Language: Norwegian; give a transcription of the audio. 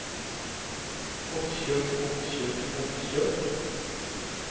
oppkjøp oppkjøp oppkjøp